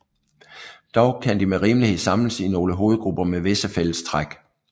Dog kan de med rimelighed samles i nogle hovedgrupper med visse fælles træk